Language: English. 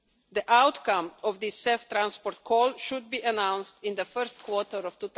The outcome of this CEF Transport call should be announced in the first quarter of